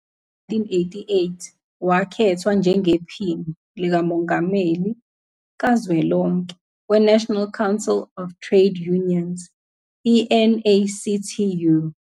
Ngo-1988, wakhethwa njengePhini Likamongameli Kazwelonke We-National Council of Trade Unions, NACTU,